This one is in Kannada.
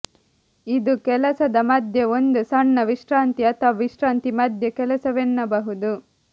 ಇದು ಕೆಲಸದ ಮಧ್ಯೆ ಒಂದು ಸಣ್ಣ ವಿಶ್ರಾಂತಿ ಅಥವಾ ವಿಶ್ರಾಂತಿ ಮಧ್ಯೆ ಕೆಲಸವೆನ್ನಬಹುದು